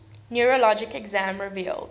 neurologic exam revealed